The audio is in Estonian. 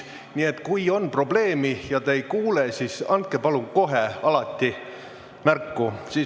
Nii et kui on probleeme ja te ei kuule, siis palun andke alati kohe märku.